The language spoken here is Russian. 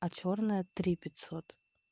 а чёрная три пятьсот